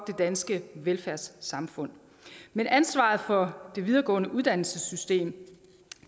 det danske velfærdssamfund men ansvaret for det videregående uddannelsessystem